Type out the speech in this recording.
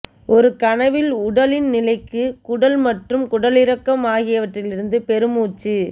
ஒரு கனவில் உடலின் நிலைக்கு குடல் மற்றும் குடலிறக்கம் ஆகியவற்றிலிருந்து பெருமூச்சு